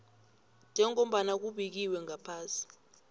njengombana kubekiwe ngaphasi